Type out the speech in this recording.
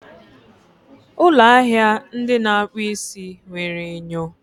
ụlọ ahịa ndị na-akpụ isi nwere enyo